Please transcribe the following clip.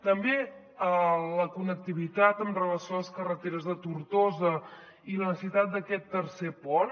també a la connectivitat amb relació a les carreteres de tortosa i la necessitat d’aquest tercer pont